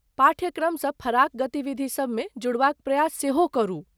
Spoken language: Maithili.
पाठ्यक्रमसँ फराक गतिविधि सबमे जुड़बाक प्रयास सेहो करू।